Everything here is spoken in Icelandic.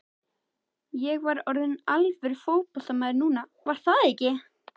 Ég var orðinn alvöru fótboltamaður núna, var það ekki?